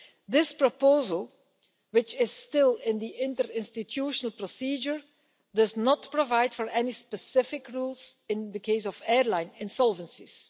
This proposal, which is still in the interinstitutional procedure, does not provide for any specific rules in the case of airline insolvencies.